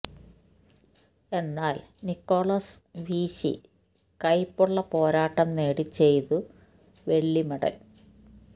എന്നാൽ നിക്കോളാസ് വീശി കൈപ്പുള്ള പോരാട്ടം നേടി ചെയ്തു വെള്ളി മെഡൽ